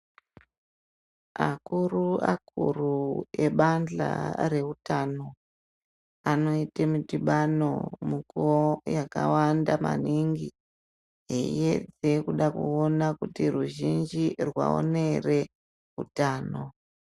Akuru akuru ebandla reutano anoite midhibano mikuwo yakawanda maningi eiyedze kuda kuone kuti ruzhinji rwaona ere utano.